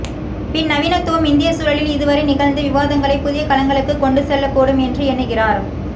பின்நவீனத்துவம் இந்தியச்சூழலில் இதுவரை நிகழ்ந்த விவாதங்களை புதிய களங்களுக்குக் கொண்டுசெல்லக்கூடும் என்று எண்ணுகிறார்